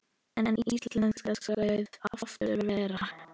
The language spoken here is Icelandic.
En íslensk skal afurðin vera.